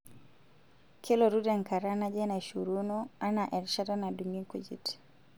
Kelotu tenkata naje naishoruno, anaa erishata nadung'I nkujit?